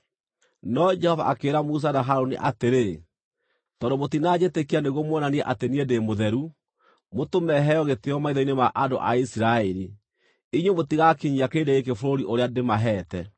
No Jehova akĩĩra Musa na Harũni atĩrĩ, “Tondũ mũtinanjĩtĩkia nĩguo muonanie atĩ niĩ ndĩ mũtheru, mũtũme heo gĩtĩĩo maitho-inĩ ma andũ a Isiraeli, inyuĩ mũtigaakinyia kĩrĩndĩ gĩkĩ bũrũri ũrĩa ndĩmaheete.”